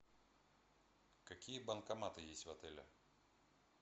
какие банкоматы есть в отеле